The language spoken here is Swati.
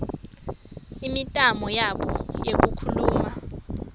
imitamo yabo yekukhuluma